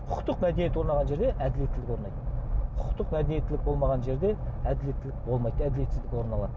құқықтық мәдениет орнаған жерде әділеттілік орнайды құқықтық мәдениеттілік болмаған жерде әділеттілік болмайды әділетсіздік орын алады